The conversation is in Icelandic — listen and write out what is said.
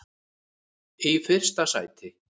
í fyrsta sæti.